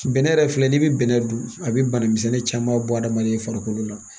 Bɛnɛ yɛrɛ filɛ n'i bɛ bɛnɛ dun a bɛ bana misɛnnin caman bɔ adamaden farikolo la